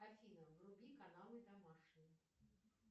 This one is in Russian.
афина вруби каналы домашний